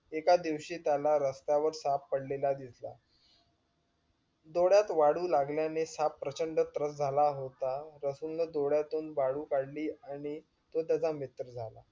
एका दिवशी त्याला रस्त्यावर साप पडलेला दिसला. डोळ्यात वाळू लागल्याने साप प्रचंड त्रस्त झाला होता. रसूल ने डोळ्यातून वाळू काढली आणि तो त्याचा मित्र झाला.